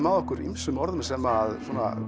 að okkur ýmsum orðum sem